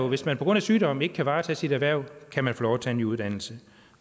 hvis man på grund af sygdom ikke kan varetage sit erhverv kan man få lov at tage en ny uddannelse